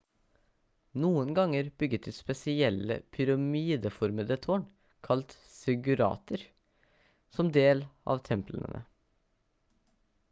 noen ganger bygget de spesielle pyramideformede tårn kalt ziggurater som del av templene